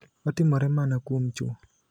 Otimore mana kuom chwo.